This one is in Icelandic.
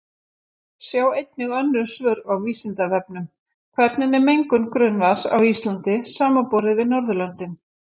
Sjá einnig önnur svör á Vísindavefnum: Hvernig er mengun grunnvatns á Íslandi samanborið við Norðurlöndin?